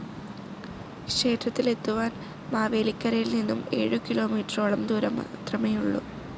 ക്ഷേത്രത്തിൽ എത്തുവാൻ മാവേലിക്കരയിൽ നിന്നും ഏഴുകിലോമീറ്ററോളം ദൂരംമാത്രമേയുള്ളു.